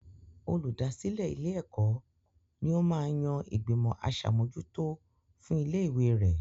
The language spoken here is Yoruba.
Olùdásílẹ̀ ilé-ẹ̀kọ́ ní ó máa ń yan ìgbìmọ̀ aṣàmójútó fún ilé ìwé rẹ.